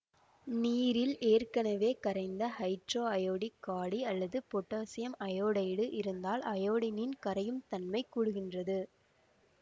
நீரில் ஏற்கனவே கரைந்த ஹைட்ரோஐயோடிக் காடி அல்லது பொட்டாசியம் அயோடைடு இருந்தால் அயோடினின் கரையும் தன்மை கூடுகின்றது